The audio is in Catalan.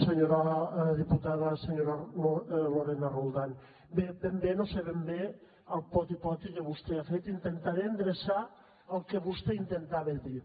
senyora diputada senyora lorena roldán bé ben bé no sé ben bé el poti poti que vostè ha fet intentaré endreçar el que vostè intentava dir